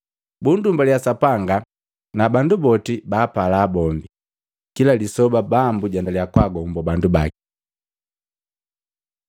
Bundumbaliya Sapanga na bandu boti baapala bombi. Kila lisoba Bambu jaendaliya kwaagombo bandu baki.